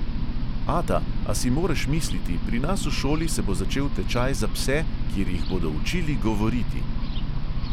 "Ata, a si moreš misliti, pri nas v šoli se bo začel tečaj za pse, kjer jih bodo učili govoriti!"